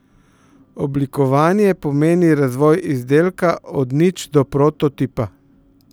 Oblikovanje pomeni razvoj izdelka od nič do prototipa.